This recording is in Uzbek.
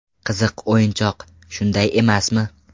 Qiziq o‘yinchoq, shunday emasmi?